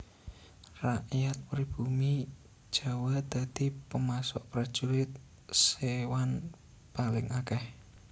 Rakyat pribumi Jawa dadi pemasok Prajurit Séwan paling akèh